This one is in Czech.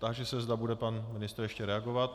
Táži se, zda bude pan ministr ještě reagovat.